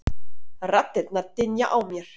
Raddirnar dynja á mér.